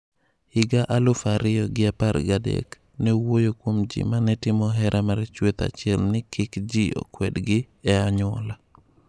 Higa aluf ariyo gi apar gi adek, ne owuoyo kuom ji mane timo hera mar chuech achiel ni kik ji kwedgi e anyuola.